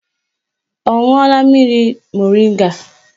Ọ ṅụọla mmiri moringa?